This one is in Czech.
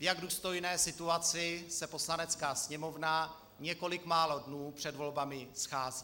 V jak důstojné situaci se Poslanecká sněmovna několik málo dnů před volbami schází.